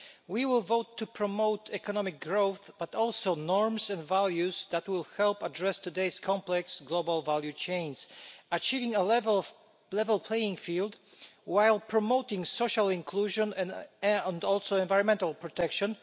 We will vote to promote not only economic growth but also norms and values that will help address today's complex global value chains, achieving a level playing field while promoting social inclusion and environmental protection.